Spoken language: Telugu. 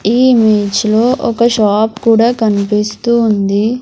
ఈ ఇమేజ్ లో ఒక షాప్ కూడా కన్పిస్తూ ఉంది.